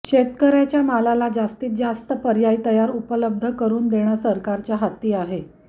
शेतकऱ्याच्या मालाला जास्तीत जास्त पर्याय तयार उपलब्ध करून देणं सरकारच्या हाती आहे